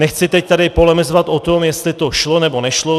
Nechci teď tady polemizovat o tom, jestli to šlo, nebo nešlo.